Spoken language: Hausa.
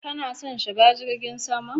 Ka na son shiga jirgin sama?